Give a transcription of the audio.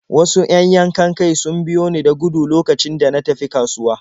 Wasu 'yan yankan-kai sun biyo ni da gudu lokacin da na tafi kasuwa.